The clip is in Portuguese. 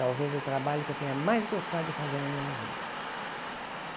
Talvez o trabalho que eu tenha mais gostado de fazer na minha vida.